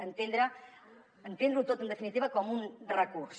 entendre ho tot en definitiva com un recurs